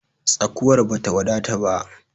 Tsakuwar bata wadata ba.